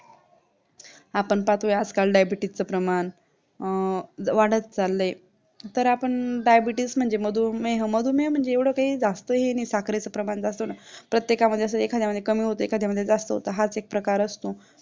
आपण पाहतोय आजकाल Diabetis च प्रमाण वाढत चाली तर आपण Diabetis म्हणजे मधुमेह मधुमेह म्हणजे एव्हडं काही जास्त नाही साखरेचं प्रमाण जास्त होणं प्रत्येकामध्ये एखाद्यामध्ये जास्त होत एखाद्यामध्ये कमी होत हाच एक प्रकार असतो